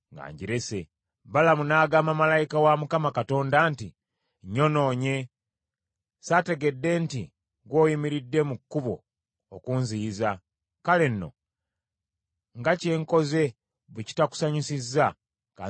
Balamu n’agamba malayika wa Mukama Katonda nti, “Nnyonoonye. Saategedde nti ggwe oyimiridde mu kkubo okunziyiza. Kale nno nga kye nkoze bwe kitakusanyusizza, ka nzireyo eka.”